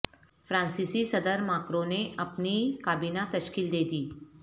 فرانسیسی صدر ماکروں نے اپنی کابینہ تشکیل دے دی